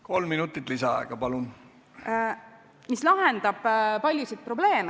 Kolm minutit lisaaega, palun!